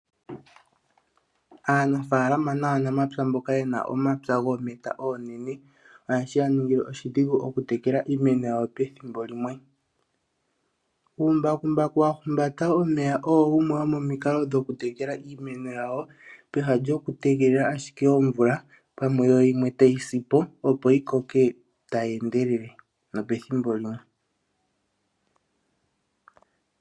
Aanafalama naanamapya mboka yena omapya gometa onenene ohashi yaningile oshidhingu oku tekela iimeno yawo pethimbo limwe. Uumbakumbaku wahumbata omeya owo wumwe womomiikalo dhoku tekela iimeno yawo peha lyoku tegelela ashike omvula, pamwe yo yimwe tayi sipo opo yikoke tayi endelele nopethimbo limwe.